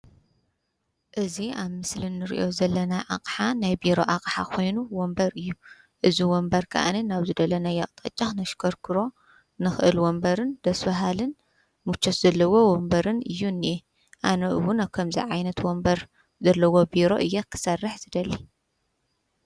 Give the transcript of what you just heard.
እዚ ኣብ ምስሊ ንሪኦ ዘለና ኣቅሓ ናይ ቢሮ ኣቅሓ ኮይኑ ወንበር እዩ። እዚ ወንበር ከዓ ናብ ዝደለናዮ ኣቅጣጫ ክነሽከርኽሮ ንክእል ወንበርን ደስ በሃልን ምቾት ዘለዎ ወንበርን እዩ ዝኒአ ኣነ እዉን ኣብ ከምዚ ዓይነት ወንበር ዘለዎ ቢሮ እየ ክሰርሕ ዝደሊ።